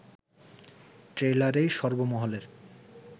ট্রেইলারেই সর্বমহলের